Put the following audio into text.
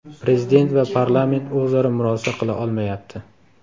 Prezident va parlament o‘zaro murosa qila olmayapti .